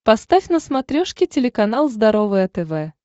поставь на смотрешке телеканал здоровое тв